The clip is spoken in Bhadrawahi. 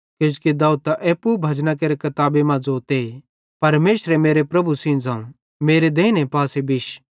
किजोकि दाऊद त एप्पू भजना केरे किताबी मां ज़ोते परमेशरे मेरे प्रभु सेइं ज़ोवं मेरे देइने पासे बिश